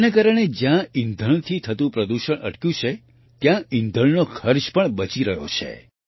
જેના કારણે જ્યાં ઈંધણથી થતું પ્રદૂષણ અટક્યું છે ત્યાં ઈંધણનો ખર્ચ પણ બચી રહ્યો છે